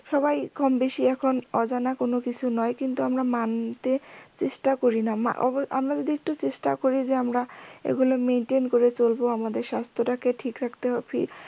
সবাই কম বেশি এখন অজানা কোনো কিছু নয় কিন্তু আমরা মানতে চেষ্টা করি না আমরা যদি একটু চেষ্টা করি যে আমরা এগুলো maintain করে চলবো আমাদের স্বাস্থ তা কে ঠিক রাখতে